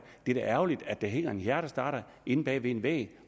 er da ærgerligt at der hænger en hjertestarter inde bag en væg